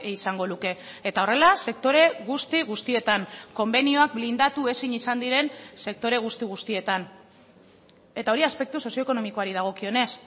izango luke eta horrela sektore guzti guztietan konbenioak blindatu ezin izan diren sektore guzti guztietan eta hori aspektu sozioekonomikoari dagokionez